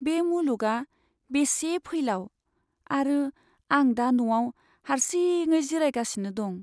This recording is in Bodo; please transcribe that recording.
बे मुलुगआ बेसे फैलाव आरो आं दा न'आव हारसिङै जिरायगासिनो दं।